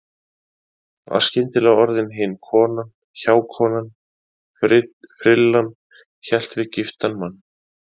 Var skyndilega orðin hin konan, hjákonan, frillan- hélt við giftan mann.